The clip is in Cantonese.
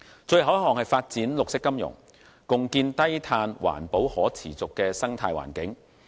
最後一項是發展綠色金融，共建低碳環保可持續的生態環境。